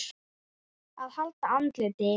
AÐ HALDA ANDLITI